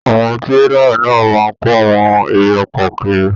Àwọn tírélà náà máa n kò àwọn èrè oko kíri.